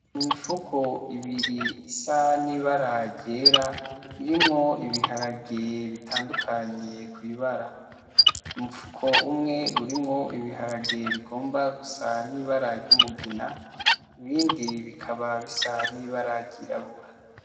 Imifuko ibiri isa n'ibara ryera irimwo ibiharage bitandukanye kw'ibara, umufuko umwe urimwo ibiharage bigomba gusa n'ibara ry'umugina ibindi bikaba bisa n'ibara ryirabura.